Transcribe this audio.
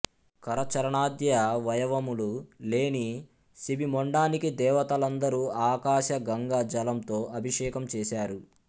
కరచరాణాద్యవయవములు లేని శిబి మొండానికి దేవతలందరు ఆకాశగంగా జలంతో అభిషేకం చేశారు